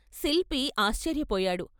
శిల్పి ఆశ్చర్యపోయాడు.